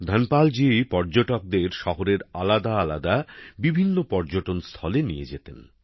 ধনপাল জি পর্যটকদের শহরের আলাদা আলাদা বিভিন্ন পর্যটন স্থলে নিয়ে যেতেন